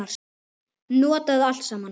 Notaðu allt saman.